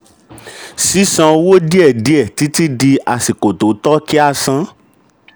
sísan owó díẹ̀ díẹ̀ títí di àsìkò tó tọ́ kí a san.